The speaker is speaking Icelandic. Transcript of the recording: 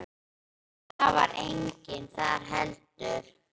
En það var enginn þar heldur.